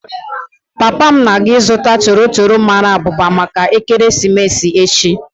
Papa m na-aga ịzụta toro toro mara abụba maka ekeresimesi echi.